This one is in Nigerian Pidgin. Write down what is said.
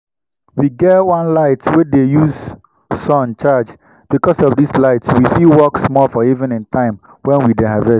we get one light wey dey use sun charge. because of this light we fit work small for evening time when we dey harvest.